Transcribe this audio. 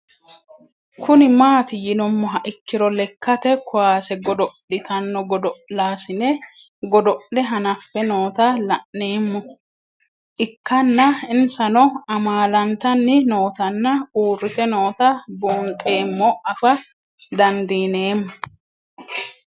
Kuni mati yinumoha ikiro lekate kuase godoli'tanno godol'asine godol'e hanafe noota la'nemo ikana insano amalantani nootana uurite noota buunxemo afa dandinemo?